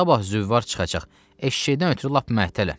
Sabah züvvar çıxacaq, eşşəkdən ötrü lap məhtələm.